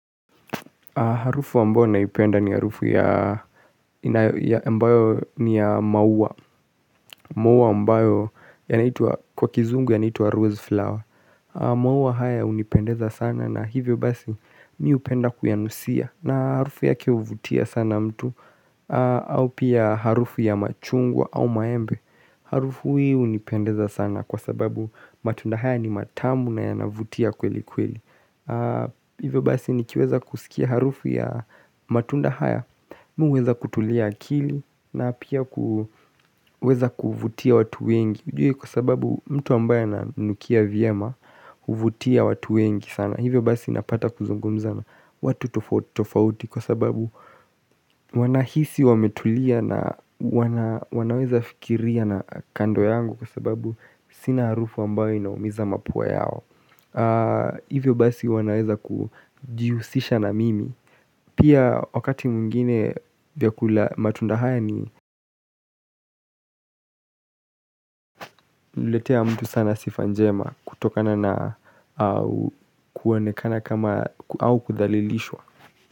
Harufu ambao naipenda ni harufu ya ambayo ni ya mauwa Mauwa ambayo yanaitwa kwa kizungu yanaitwa rose flower Mauwa haya hunipendeza sana na hivyo basi mi hupenda kuyanusia na harufu yake huvutia sana mtu au pia harufu ya machungwa au maembe Harufu hii hunipendeza sana kwa sababu matunda haya ni matamu na yanavutia kweli kweli Hivyo basi nikiweza kusikia harufu ya matunda haya Mi huweza kutulia akili na pia kuweza kuvutia watu wengi Kwa sababu mtu ambaye ananukia vyama huvutia watu wengi sana Hivyo basi napata kuzungumza na watu tofauti tofauti Kwa sababu wanahisi wametulia na wanaweza fikiria na kando yangu Kwa sababu sina harufu ambayo inaumiza mapua yao Hivyo basi wanaweza kujihusisha na mimi Pia wakati mwingine vyakula matunda haya ni inaletea mtu sana sifa njema kutokana na kuonekana kama au kudhalilishwa.